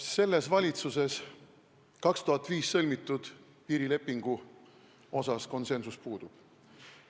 Selles valitsuses 2005. aastal sõlmitud piirilepingu asjus konsensus puudub.